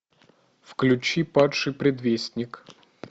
включи падший предвестник